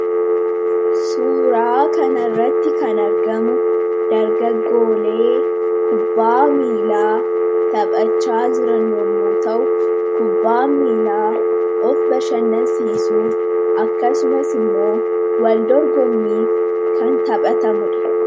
suuraa kanarratti kan argamu dargaggoolee kubbaa miilaa taphachaa jiran yommu ta'u kubbaa miilaa of bashannasiisuuf akkasumas immoo waldorgommiif kan taphatamudha